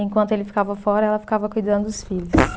Enquanto ele ficava fora, ela ficava cuidando dos filhos.